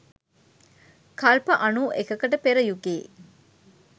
කල්ප අනූ එකකට පෙර යුගයේ